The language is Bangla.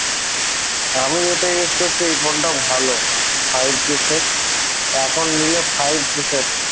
আমি এটা use এই ফোনটা ভালো five g set এখন নিলে five g set